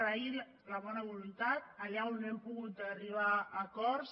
agrair la bona voluntat allà on no hem pogut arribar a acords